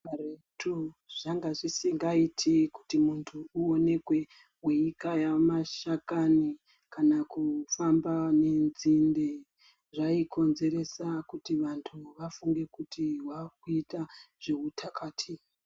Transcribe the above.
Karetu zvange zvisingaiti kuti muntu uoneke weikaya masakani, kana kufamba nenzinde, zvaikonzeresa kuti vantu vafunge kuti wave kuita zveutakati.